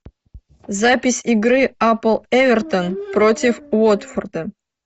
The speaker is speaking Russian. запись игры апл эвертон против уотфорда